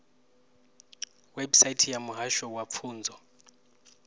website ya muhasho wa pfunzo